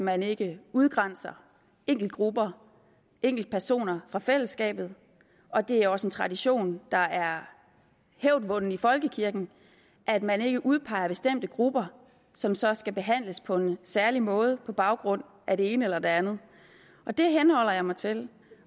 man ikke udgrænser enkeltgrupper enkeltpersoner fra fællesskabet det er også en tradition der er hævdvunden i folkekirken at man ikke udpeger bestemte grupper som så skal behandles på en særlig måde på baggrund af det ene eller det andet det henholder jeg mig til